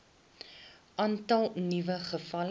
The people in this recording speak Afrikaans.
aantal nuwe gevalle